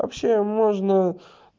вообще можно